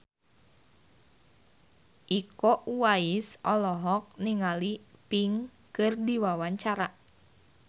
Iko Uwais olohok ningali Pink keur diwawancara